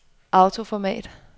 autoformat